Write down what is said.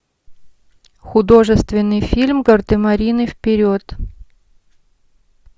художественный фильм гардемарины вперед